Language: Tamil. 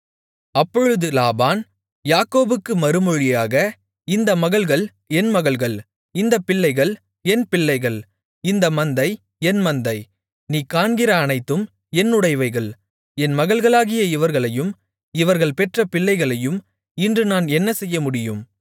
அப்பொழுது லாபான் யாக்கோபுக்குப் மறுமொழியாக இந்த மகள்கள் என் மகள்கள் இந்தப் பிள்ளைகள் என் பிள்ளைகள் இந்த மந்தை என் மந்தை நீ காண்கிற அனைத்தும் என்னுடையவைகள் என் மகள்களாகிய இவர்களையும் இவர்கள் பெற்ற பிள்ளைகளையும் இன்று நான் என்ன செய்யமுடியும்